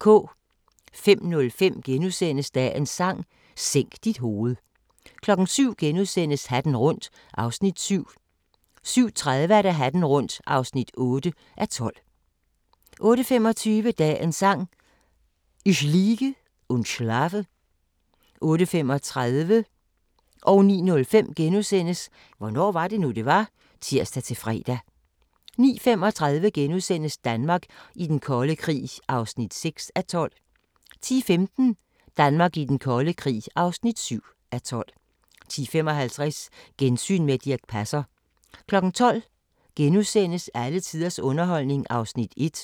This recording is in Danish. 05:05: Dagens Sang: Sænk dit hoved * 07:00: Hatten rundt (7:12)* 07:30: Hatten rundt (8:12) 08:25: Dagens Sang: Ich liege und schlafe 08:35: Hvornår var det nu, det var? *(tir-fre) 09:05: Hvornår var det nu, det var? *(tir-fre) 09:35: Danmark i den kolde krig (6:12)* 10:15: Danmark i den kolde krig (7:12) 10:55: Gensyn med Dirch Passer 12:00: Alle tiders underholdning (1:8)*